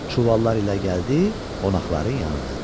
Çuvallar ilə gəldi qonaqların yanına.